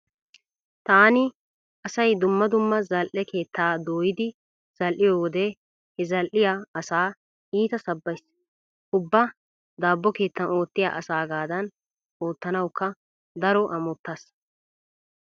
Taani asay dumma dumma zal"e keettaa dooyidi zal"iyo wode he zal"iya asaa iita sabbays. Ubba daabbo keettan oottiya asaagaadan oottanawukka daro amottays.